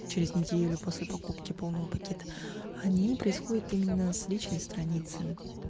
через неделю после покупки полного пакета они происходят именно с личной страницы